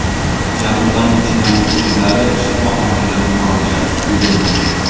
Jabrlanuvchilarning o‘zlari shifoxonaga murojaat qilgan.